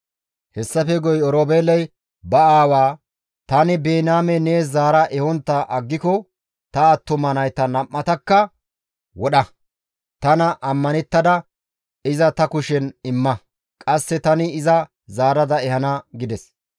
Hessafe guye Oroobeeley ba aawaa, «Tani Biniyaame nees zaara ehontta aggiko ta attuma nayta nam7atakka wodha; tana ammanettada iza ta kushen imma; qasse tani iza zaarada ehana» gides.